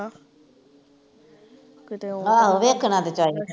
ਆਹੋ ਵੇਖਣ ਤੇ ਚਾਹੀਦਾ